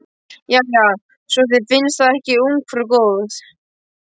Jæja, svo þér finnst það ekki ungfrú góð.